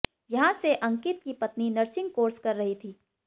यहां से अंकित की पत्नी नर्सिंग कोर्स कर रही थी